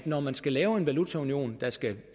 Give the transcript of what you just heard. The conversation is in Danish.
når man skal lave en valutaunion der skal